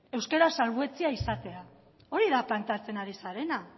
euskara salbuetsia izatea hori da planteatzen ari zarena